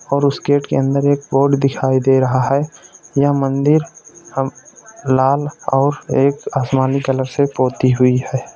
और उस गेट के अंदर एक बोर्ड दिखाई दे रहा है यह मंदिर हम लाल और एक आसमानी कलर से पोती हुई है।